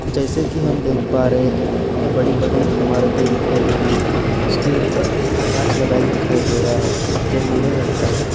जैसे की हम देख पा रहे हैं यहाँ बड़ी-बड़ी इमारतें दिखाई दे रही है इसके ऊपर काँच लगा दिखाई दे रहा है जो नीले रंग का है।